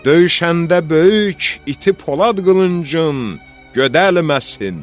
Döyüşəndə böyük iti polad qılıncın gödəlməsin.